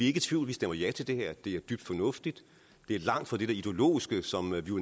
i tvivl vi stemmer ja til det her det er dybt fornuftigt det er langt fra det der ideologiske som vi jo